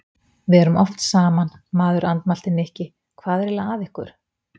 Við erum oft saman, maður andmælti Nikki, hvað er eiginlega að ykkur?